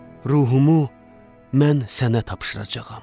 Ruhumu mən sənə tapşıracağam.